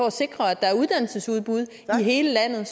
at sikre at der er uddannelsesudbud i hele landet